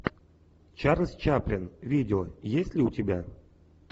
чарльз чаплин видео есть ли у тебя